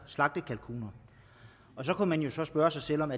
slagtekalkuner så kunne man jo spørge sig selv om